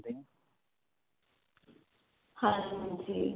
ਹਾਂਜੀ .